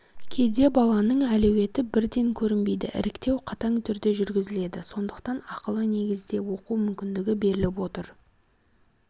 кейде баланың әлеуеті бірден көрінбейді іріктеу қатаң түрде жүргізіледі сондықтан ақылы негізде оқу мүмкіндігі беріліп отыр